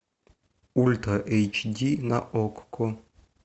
ультра эйч ди на окко